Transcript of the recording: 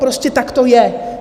Prostě tak to je.